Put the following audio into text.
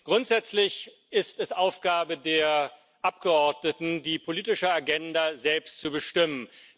Grundsätzlich ist es Aufgabe der Abgeordneten, die politische Agenda selbst zu bestimmen.